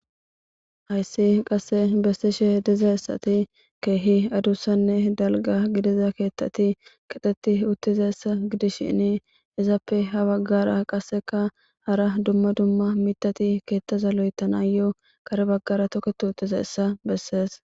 Haysi qase besishe dizaysati kehi adusanne dalga gidoza keethati keexeti uttidaysa gidishin izappe ha bagara qaseka hara duma duma mithati keethaza lo'ethayo toketi uttidayssa besees.